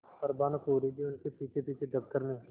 पर भानुकुँवरि भी उनके पीछेपीछे दफ्तर में